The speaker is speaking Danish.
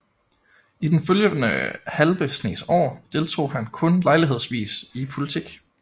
I den følgende halve snes år deltog han kun lejlighedsvis i politik